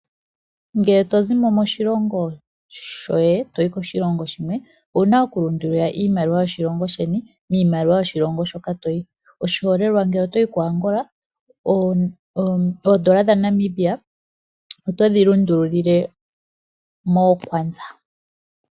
Ngele to zi mo moshilongo shoye to yi koshilongo shilwe owu na okulundululila iimaliwa yoshilongo sheni miimaliwa yoshilongo hoka to yi, oshiholelwa ngele oto yi koAngola oodola dhaNamibia oto dhi lundululile mookwanza.